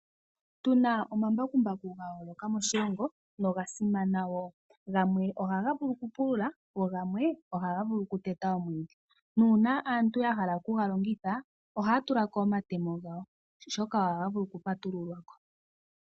Otuna omambakumbaku gayooloka moshilongo no ogasimana wo. Gamwe ohaga vulu okupulula go gamwe oha gavulu okuteta omwiidhi, nuuna aantu yahala okugalongitha ohaya tulako omatemo gawo oshoka ohaga vulu okupatululwako.